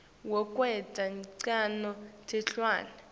wekwenta ncono tilwane